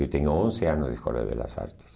Eu tenho onze anos da Escola de Belas Artes.